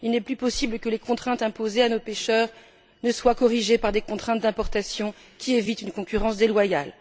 Il n'est plus possible que les contraintes imposées à nos pêcheurs ne soient pas corrigées par des contraintes d'importation qui évitent une concurrence déloyale.